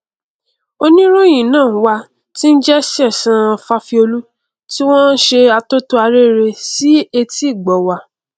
oníròhìn ná wà tí n jẹ sẹsan fáfiólú tí wọn n ṣe atótó arére sí etí ìgbọ wa